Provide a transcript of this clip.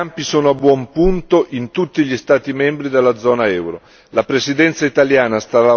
Le misure in tutti questi campi sono a buon punto in tutti gli Stati membri della zona euro.